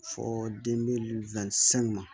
Fɔ den be ma